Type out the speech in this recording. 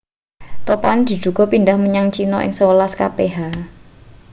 topane diduga pindhah menyang china ing sewelas kph